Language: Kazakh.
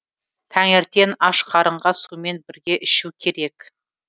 таңертең ашқарынға сумен бірге ішу керек